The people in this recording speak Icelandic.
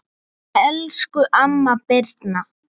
Elsku amma Birna.